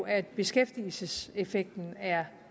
at beskæftigelseseffekten er